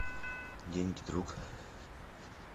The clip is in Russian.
деньги друг